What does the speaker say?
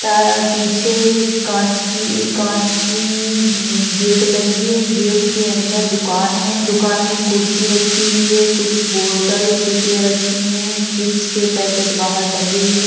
क पीछे काँच की कांच की गेट लगी है। गेट के अंदर दुकान है। दुकान में कुर्सी रखी हुई है। कुछ बोटल रखी है। चिप्स के पैकेट बाहर टंगे हुए --